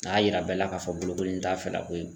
A y'a jira bɛɛ la k'a fɔ ko bolokoli in t'a fɛla ko ye.